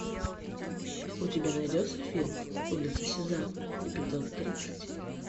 у тебя найдется фильм улица сезам эпизод тридцать